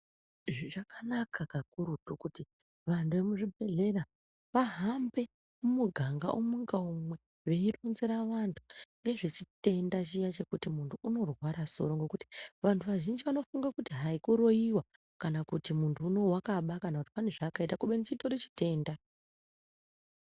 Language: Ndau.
Zvichakanaka kakurutu kuti antu emuzvibhedhlera vahambe mumuganga umwe ngaumwe veironzera vantu nezvechitenda chiya chekuti muntu unorwara soro. Ngekuti vantu vazhinji vanofunga kuti hai kuroiva kana kuti muntu unouyu vakaba kana kuti pane zvaakaita kubeni chitori chitenda.